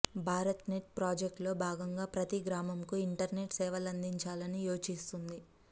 Bharat net ప్రాజెక్టులో భాగంగా ప్రతి గ్రామంకు ఇంటర్నెట్ సేవలందించాలని యోచిస్తోంది